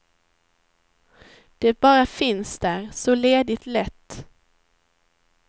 Det bara finns där, så ledigt lätt.